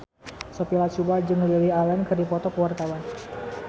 Sophia Latjuba jeung Lily Allen keur dipoto ku wartawan